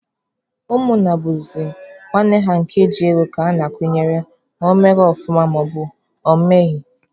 Ụmụnna bụzị nwanne ha nke ji ego ka ha na-akwụnyere ma ọ mere ọfụma maọbụna ọ meghị.